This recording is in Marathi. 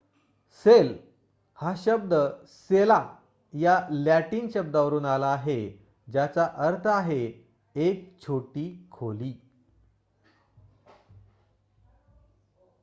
सेल हा शब्द सेला या लॅटिन शब्दावरून आला आहे ज्याचा अर्थ आहे एक छोटी खोली